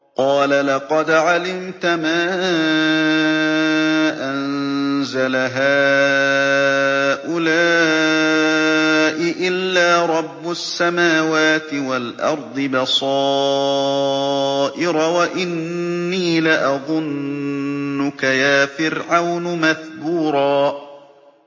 قَالَ لَقَدْ عَلِمْتَ مَا أَنزَلَ هَٰؤُلَاءِ إِلَّا رَبُّ السَّمَاوَاتِ وَالْأَرْضِ بَصَائِرَ وَإِنِّي لَأَظُنُّكَ يَا فِرْعَوْنُ مَثْبُورًا